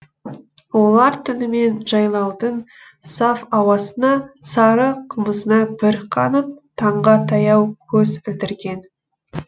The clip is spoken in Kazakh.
олар түнімен жайлаудың саф ауасына сары қымызына бір қанып таңға таяу көз ілдірген